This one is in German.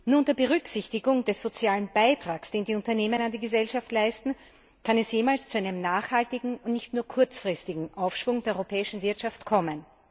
Nur unter Berücksichtigung des sozialen Beitrags, den die Unternehmen an die Gesellschaft leisten, kann es jemals zu einem nachhaltigen und nicht nur kurzfristigen Aufschwung der europäischen Wirtschaft kommen.